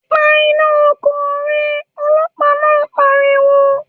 ‘Pa iná o̩kò̩ re̩!’, o̩ló̩pàá náà pariwo